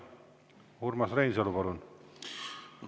Urmas Reinsalu, palun!